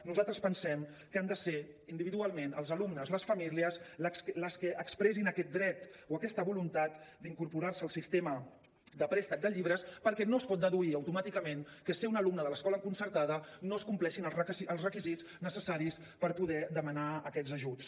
nosaltres pensem que han de ser individualment els alumnes les famílies les que expressin aquest dret o aquesta voluntat d’incorporar se al sistema de préstec de llibres perquè no es pot deduir automàticament que sent un alumne de l’escola concertada no es compleixin els requisits necessaris per poder demanar aquests ajuts